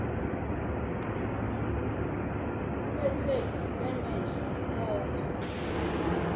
kuletheksthi lengenhla khokha